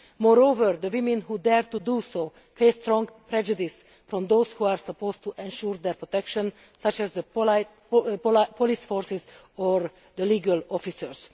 Moreover, the women who dare to do so face strong prejudice from those who are supposed to ensure their protection, such as police forces or legal officers.